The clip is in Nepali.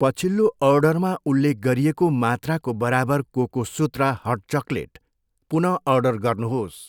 पछिल्लो अर्डरमा उल्लेख गरिएको मात्राको बराबर कोकोसुत्रा हट चकलेट पुन अर्डर गर्नुहोस्।